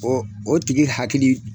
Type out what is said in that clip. O o tigi hakili